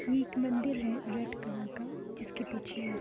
ये एक मंदिर है रेड कलर का। जिसके पीछे है --